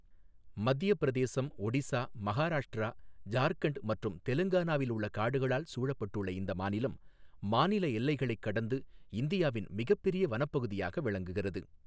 மத்தியப் பிரதேசம், ஒடிசா, மகாராஷ்டிரா, ஜார்க்கண்ட் மற்றும் தெலுங்கானாவில் உள்ள காடுகளால் சூழப்பட்டுள்ள இந்த மாநிலம், மாநில எல்லைகளைக் கடந்து இந்தியாவின் மிகப்பெரிய வனப்பகுதியாக விளங்குகிறது.